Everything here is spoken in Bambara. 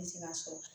Ne ti se ka sɔrɔ